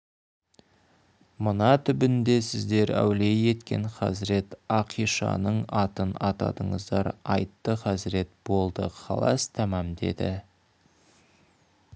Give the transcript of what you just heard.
мына түбінде сіздер әулие еткен хазіреті ақишанның атын атадыңыздар айтты хазірет болды халас тамам деді